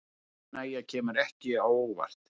Óánægja kemur ekki á óvart